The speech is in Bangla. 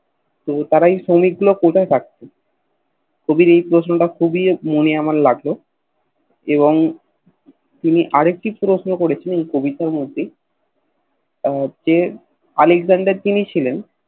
তো তারা ঐ শ্রমিক গুলো কোথায় রাখতো কবির এই প্রশ্ন টা মনে আমার খুব লাগলো এবং তিনি আর এটা প্রশ্ন করেছেন এই কবিতার মধ্যে যে আলেকজান্ডার যিনি ছিলেন